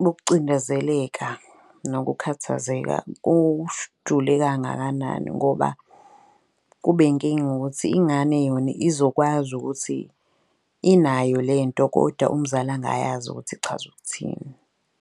bokucindezeleka nokukhathazeka kangakanani. Ngoba kube inkinga ukuthi ingane yona izokwazi ukuthi inayo le nto kodwa umzali angayazi ukuthi ichaza ukuthini.